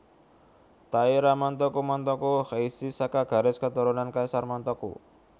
Taira Montoku Montoku Heishi saka garis keturunan Kaisar Montoku